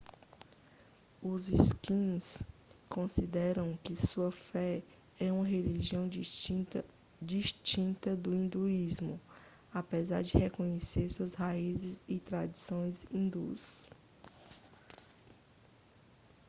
os sikhs consideram que sua fé é uma religião distinta do hinduísmo apesar de reconhecerem suas raízes e tradições hindus